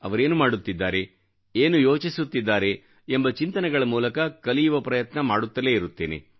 ಅವರೇನು ಮಾಡುತ್ತಿದ್ದಾರೆ ಏನು ಯೋಚಿಸುತ್ತಿದ್ದಾರೆ ಎಂಬ ಚಿಂತನೆಗಳ ಮೂಲಕ ಕಲಿಯುವ ಪ್ರಯತ್ನ ಮಾಡುತ್ತಲೇ ಇರುತ್ತೇನೆ